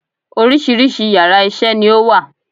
Oríṣiríṣi yàrá isé ni ó wà